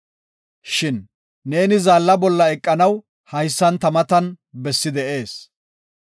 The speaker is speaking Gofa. Shin, “Neeni zaalla bolla eqanaw haysan ta matan bessi de7ees.